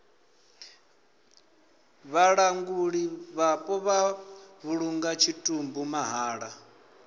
vhalanguli vhapo vha vhulunga tshitumbu mahala